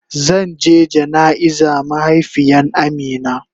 Zan je jana'iza mahaifiyan Amina.